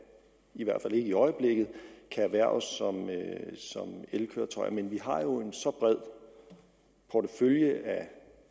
i hvert fald ikke i øjeblikket kan erhverves som elkøretøjer men vi har jo en så bred portefølje af